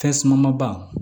Fɛsaman ba